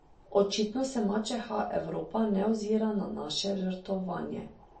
Očitno se mačeha Evropa ne ozira na naše žrtvovanje.